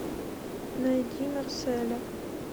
найди марселя